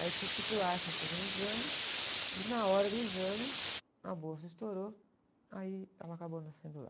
Aí eu tive que ir para o Einstein fazer um exame e na hora do exame a bolsa estourou, aí ela acabou nascendo lá.